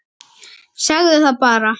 Segðu það bara!